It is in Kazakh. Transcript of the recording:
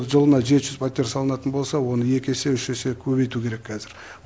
жылына жеті жүз пәтер салынатын болса оны екі есе үш есе көбейту керек қазір